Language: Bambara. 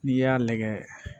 N'i y'a lagɛ